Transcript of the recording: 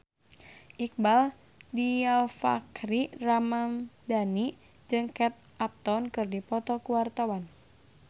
Iqbaal Dhiafakhri Ramadhan jeung Kate Upton keur dipoto ku wartawan